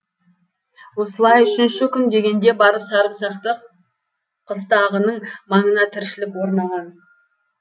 осылай үшінші күн дегенде барып сарымсақты қыстағының маңына тіршілік орнаған